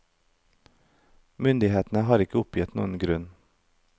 Myndighetene har ikke oppgitt noen grunn.